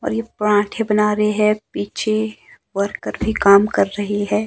और ये पराठे बना रहे है पीछे वर्कर भी काम कर रहे हैं।